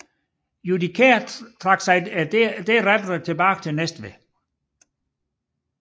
Judichær trak sig derefter tilbage til Næstved